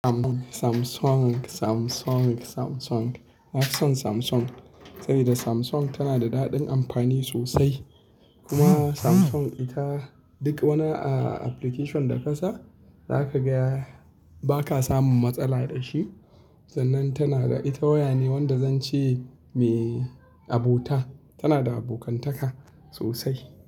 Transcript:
Samsung, Samsung, Samsung, Samsung. Na fi son Samsung saboda Samsung tana da daɗin amfani sosai. Kuma Samsung ita duk wani application da ka sa za ka ga ba ka samun matsala da shi. Sannan tana da ita waya ne wanda zan ce me abota, tana da abokantaka sosai.